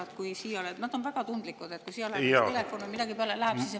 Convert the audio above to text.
on väga tundlikud, kui siia läheb kas või telefon või midagi peale ...